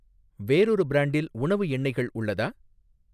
வேறொரு பிரான்டில் உணவு எண்ணெய்கள் உள்ளதா?